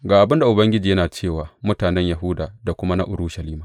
Ga abin da Ubangiji yana ce wa mutanen Yahuda da kuma na Urushalima.